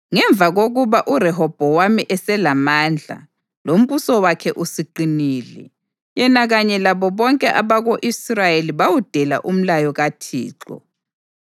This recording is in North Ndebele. Ngemva kokuba uRehobhowami eselamandla, lombuso wakhe usuqinile, yena kanye labo bonke abako-Israyeli bawudela umlayo kaThixo.